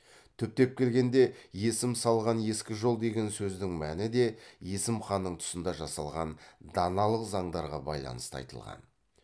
түптеп келгенде есім салған ескі жол деген сөздің мәні де есім ханның тұсында жасалған даналық заңдарға байланысты айтылған